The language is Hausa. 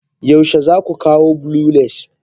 Yaushe za ku kawo blue lace?